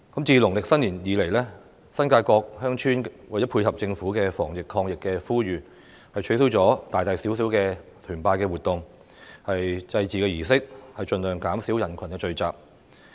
自農曆新年以來，新界各鄉村為配合政府的防疫抗疫呼籲，取消了大大小小的團拜活動和祭祀儀式，盡量減少人群聚集。